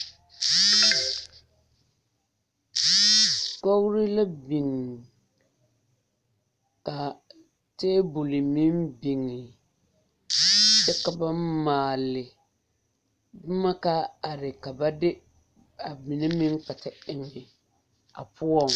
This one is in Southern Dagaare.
Kogri la biŋ ka tebol meŋ biŋe kyɛ ka ba maale boma ka are ka ba de a mine meŋ kpɛ te eŋ a poɔŋ.